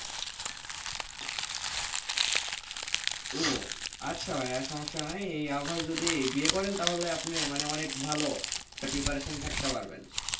আচ্ছা ভাইযা আর সমস্যা নাই এই আবহাওয়ায় আপনি যদি বিয়ে করেন তাহলে আপনি মানে অনেক ভালো আপনি preparation থাকতে পারবেন।